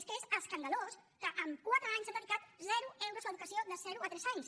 és que es escandalós que en quatre anys han dedicat zero euros a l’educació de zero a tres anys